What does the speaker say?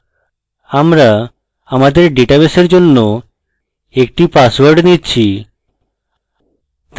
আমরা আমাদের ডেটাবেসের জন্য একটি পাসওয়ার্ড নিচ্ছি